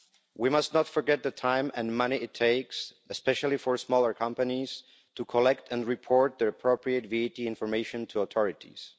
We must not forget the time and money it takes, especially for smaller companies, to collect and report their appropriate VAT information to authorities.